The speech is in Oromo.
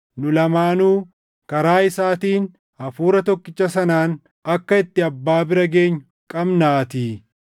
Nu lamaanuu karaa isaatiin Hafuura tokkicha sanaan akka itti Abbaa bira geenyu qabnaatii.